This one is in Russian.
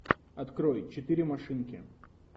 открой четыре машинки